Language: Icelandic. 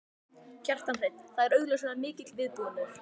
Kjartan Hreinn: Það er augljóslega mikill viðbúnaður?